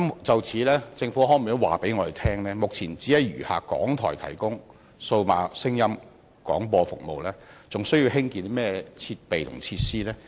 就此，政府可否告知本會，由於目前只餘下港台提供數碼廣播服務，是否還需要興建設備和設施？